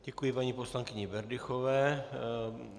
Děkuji paní poslankyni Berdychové.